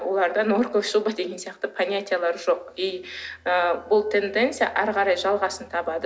оларда норковая шуба деген сияқты понятиялар жоқ и ы бұл тенденция ары қарай жалғасын табады